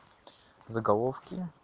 заголовки